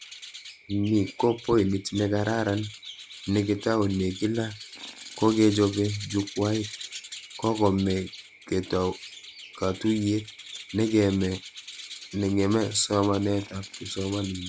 Ni ko poinit nekararan nekitoune, kila kochechobe jukwait kokeme katuyet, nekeme somanetab kipsomanink